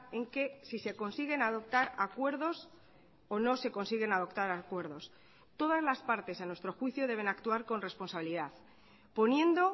en que si se consiguen adoptar acuerdos o no se consiguen adoptar acuerdos todas las partes a nuestro juicio deben actuar con responsabilidad poniendo